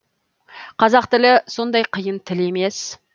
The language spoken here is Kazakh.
қазақ тілі сондай қиын тіл емес